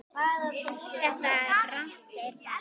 Þetta er rangt segir Páll.